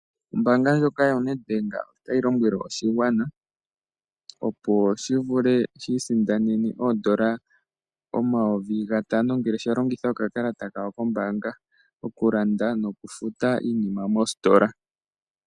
Ombaanga yoNedbank otayi lombwele oshigwana opo shi vule okwiisindanena oondola omayovi N$ 5000 ngele shalongitha oka kalata kawo kombaanga okulanda nokufuta iinima mostola.